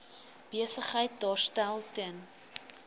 besigheid daarstel ten